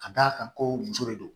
Ka d'a kan ko muso de don